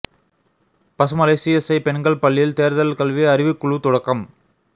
Pasumalai CSI பெண்கள் பள்ளியில் தோ்தல் கல்வி அறிவுக் குழு தொடக்கம்